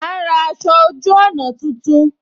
A ń ra aṣọ ojú ọna tuntun